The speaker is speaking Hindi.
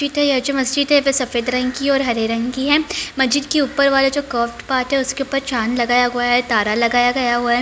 मस्जिद है सफेद रंग की और हरे रंग की है | मस्जिद के ऊपर वाला जो कर्व पार्ट है उसके ऊपर चाँद लगाया गया हुआ है तारा लगाया गया हुआ है।